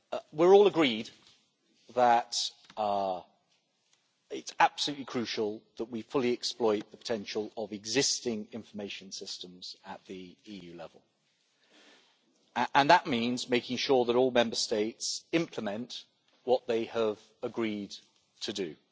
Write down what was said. We are all agreed that it is absolutely crucial that we fully exploit the potential of existing information systems at EU level, and that means making sure that all Member States implement what they have agreed to do